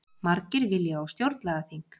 Margir vilja á stjórnlagaþing